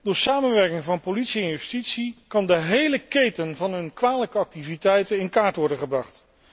Door samenwerking van politie en justitie kan de hele keten van hun kwalijke activiteiten in kaart worden gebracht.